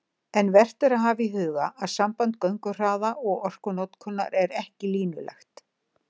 En vert er að hafa í huga að samband gönguhraða og orkunotkunar er ekki línulegt.